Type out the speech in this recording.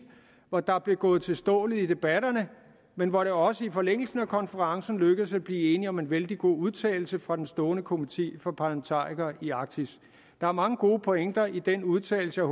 hvor der blev gået til stålet i debatterne men hvor det også i forlængelse af konferencen lykkedes at blive enige om en vældig god udtalelse fra den stående komité for parlamentarikere i arktis der er mange gode pointer i den udtalelse og